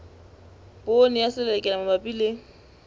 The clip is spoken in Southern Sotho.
poone ya selelekela mabapi le